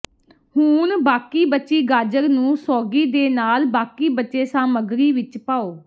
ਹੁਣ ਬਾਕੀ ਬਚੀ ਗਾਜਰ ਨੂੰ ਸੌਗੀ ਦੇ ਨਾਲ ਬਾਕੀ ਬਚੇ ਸਾਮੱਗਰੀ ਵਿੱਚ ਪਾਓ